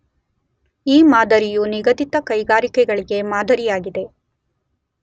ಈ ಮಾದರಿಯು ನಿಗಧಿತ ಕೈಗಾರಿಕೆಗಳಿಗೆ ಮಾದರಿಯಾಗಿದೆ.